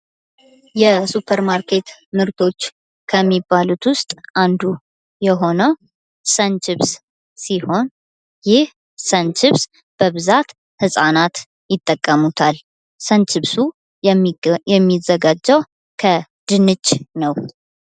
የሱፐር ማርኬት ምርቶች ከሚባሉት ውስጥ አንዱ የሆነው ሰንቺብስ ሲሆን ይህ ሰንቺብስ በብዛት ህጻናት ይጠቀሙታል። ሰንቺብሱ የሚዘጋጀው ከድንች ነው።